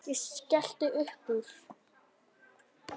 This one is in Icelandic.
Ég skellti uppúr.